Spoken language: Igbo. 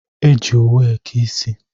E ji owu eke ịsị